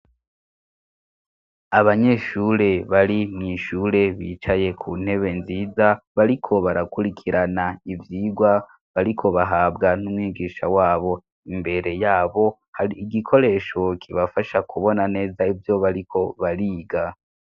Abanyeshure bari mw'ishure bicaye ku ntebe nziza bariko barakurikirana ivyigwa bariko bahabwa n'umwigisha wabo, imbere yabo hari igikoresho kibafasha kubona neza ibyo bariko bariga.